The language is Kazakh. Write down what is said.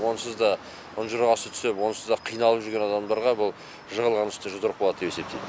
онсыз да ұнжырғасы түсіп онсыз да қиналып жүрген адамдарға бұл жығылған үстіне жұдырық болады деп есептеймін